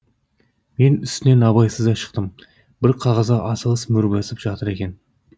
мен үстінен абайсызда шықтым бір қағазға асығыс мөр басып жатыр екен